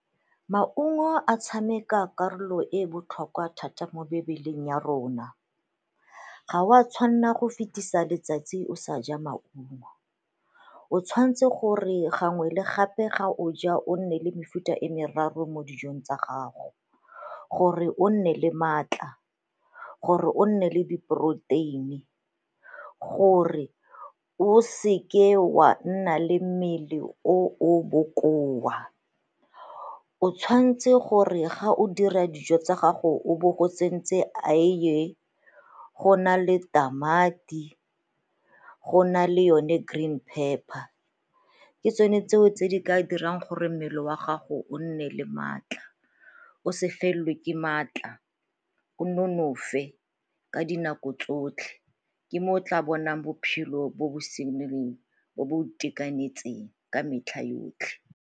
Maungo a tshameka karolo e e botlhokwa thata mo mebeleng ya rona, ga o a tshwanna go fetisa letsatsi o sa ja maungo. O tshwanetse gore gangwe le gape ga o ja o nne le mefuta e meraro mo dijong tsa gago gore o nne le maatla, gore o nne le di poroteini, gore o seke wa nna le mmele o o bokoa. O tshwanetse gore ga o dira dijo tsa gago o bo o tsentse eiye, go na le tamati, go na le yone green pepper. Ke tsone tseo tse di ka dirang gore mmele wa gago o nne le maatla o se felelwe ke maatla, o nonofe ka dinako tsotlhe, ke mo o tla bonang bophelo bo bo bo bo itekanetseng ka metlha yotlhe.